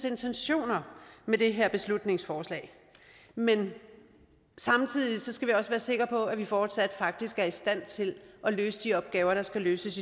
intentioner med det her beslutningsforslag men samtidig skal vi også være sikre på at vi fortsat faktisk er i stand til at løse de opgaver der skal løses